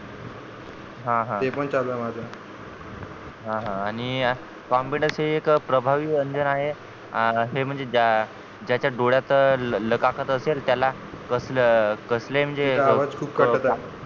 हा हा ते पण चालू आहे माझं हा हा आणि confidence एक प्रभावी व्यंजन आहे हे म्हणजे ज्या ज्याच्या डोळ्यात लाखाकत असेल त्याला कसलं कसलंही म्हणजे तुमचा आवाज खूप कटत आहे